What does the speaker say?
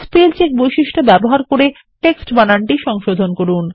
spell চেকবৈশিষ্ট্যব্যবহার করে টেক্সটবানানটি সংশোধন করুন